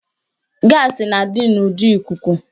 Gaasị na-adị n'ụdị ikuku